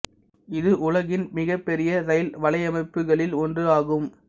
இது உலகின் மிகப் பெரிய இரயில் வலையமைப்புகளில் ஒன்று ஆகும்